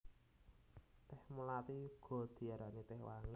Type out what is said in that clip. Tèh mlathi uga diarani tèh wangi